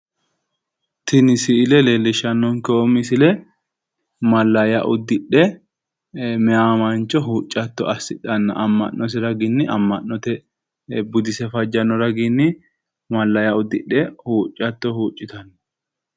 Mallayya uddidhe huuccatto aasidhanni noo ama leellishanno amaati